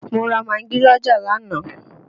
Mo ra magí l'ọ́jà lánàá